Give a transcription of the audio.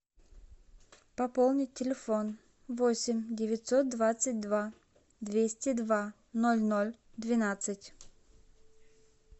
пополнить телефон восемь девятьсот двадцать два двести два ноль ноль двенадцать